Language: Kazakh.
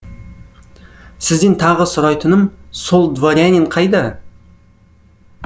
сізден тағы сұрайтыным сол дворянин қайда